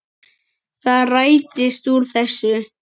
Það rættist úr þessu.